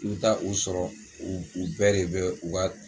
I bɛ taa u sɔrɔ u u bɛɛ de bɛ u ka.